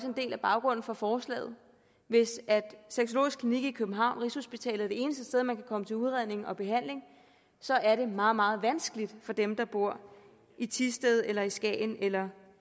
en del af baggrunden for forslaget hvis sexologisk klinik i københavn rigshospitalet er det eneste sted man kan komme til udredning og behandling så er det meget meget vanskeligt for dem der bor i thisted eller i skagen eller